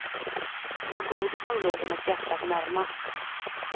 Det var godis som låg hennes hjärta närmast.